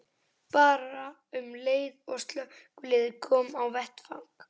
Bara um leið og slökkviliðið kom á vettvang.